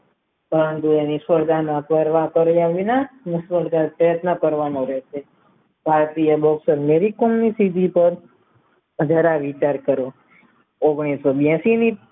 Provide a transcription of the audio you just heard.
ઈશ્વરદાન આપવા પ્રયત્ન કરવાનો રહેશેખાવા પીવા લોકો મારી અધૂરા વિચાર કરેછે તેઓ સન્યાસી